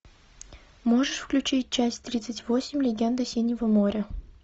можешь включить часть тридцать восемь легенда синего моря